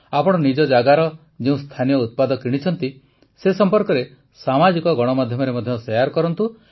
ଆପଣ ନିଜ ଜାଗାର ଯେଉଁ ସ୍ଥାନୀୟ ଉତ୍ପାଦ କିଣିଛନ୍ତି ସେ ସମ୍ପର୍କରେ ସାମାଜିକ ଗଣମାଧ୍ୟମରେ ମଧ୍ୟ ସେୟାର୍ କରନ୍ତୁ